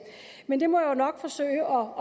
men jeg må nok forsøge